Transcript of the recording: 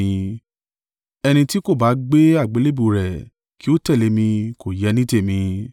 Ẹni tí kò bá gbé àgbélébùú rẹ̀ kí ó tẹ̀lé mi kò yẹ ní tèmi.